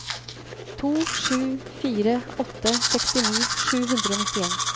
to sju fire åtte sekstini sju hundre og nittien